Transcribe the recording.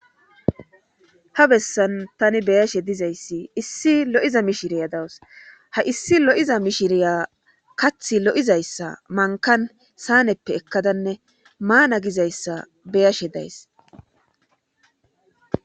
Ha bessan tani beyashe dizayssi issi lo7iza mishiriya dawus ha issi lo7iza mishiriya kathi lo7izayssa mankkan saaneppe ekkadanne maana gizayssa beyashe days.